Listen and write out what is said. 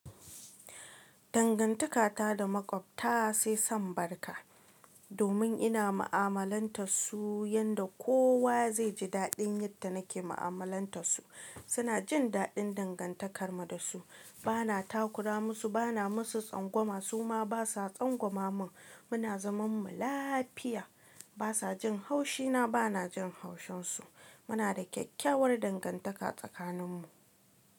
Dangantaka ta da Maƙwabta sai san barka. Domin ina mu’amalantar su yanda kowa zai ji daɗin yadda nake mu’amalantas su. Suna jin daɗin dangantakar mu da su. Bana takura musu, bana musu tsangwama, su ma basa tsangwama mun. Muna zaman mu lafiya. Basa jin haushina bana jin haushin su. Muna da kyakkyawar dangantaka tsakanin mu.